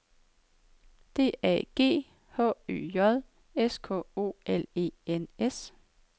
D A G H Ø J S K O L E N S